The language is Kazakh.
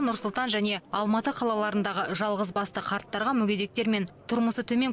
нұр сұлтан және алматы қалаларындағы жалғызбасты қарттарға мүгедектер мен тұрмысы төмен